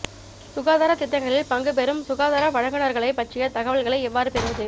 சுகாதாரத் திட்டங்களில் பங்குபெறும் சுகாதார வழங்குநர்களைப் பற்றிய தகவல்களை எவ்வாறு பெறுவது